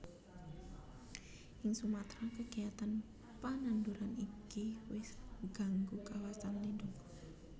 Ing Sumatra kegiatan pananduran iki wis gganggu kawasan lindung